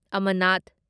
ꯑꯃꯅꯥꯠ